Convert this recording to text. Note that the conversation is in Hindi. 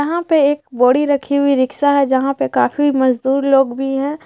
यहाँ पे एक बोरी रखी हुई रिकशा हैं जहाँ पे काफ़ी मजदुर लोग हैं।